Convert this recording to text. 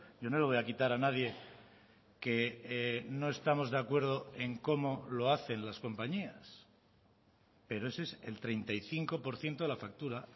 yo no le voy a quitar a nadie que no estamos de acuerdo en cómo lo hacen las compañías pero ese es el treinta y cinco por ciento de la factura